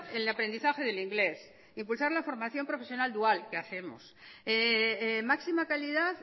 el aprendizaje del inglés impulsar la formación profesional dual que hacemos máxima calidad